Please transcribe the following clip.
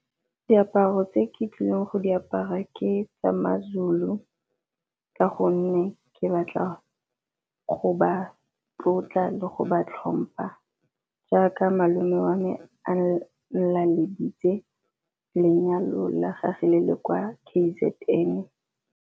Diaparo tse ke tlileng go di apara ke tsamaye seZulu ka gonne ke batla go ba tlotla le go ba tlhompa, jaaka malome wa me a laleditse lenyalo la gagwe le le kwa K_Z_N.